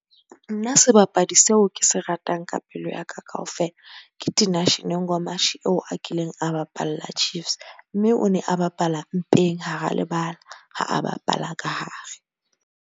Nna sebapadi seo ke se ratang ka pelo yaka kaofela, ke Tinashe eo a kileng a bapalla Chiefs. Mme o ne a bapala mpeng hara lebala, ha a bapala ka hare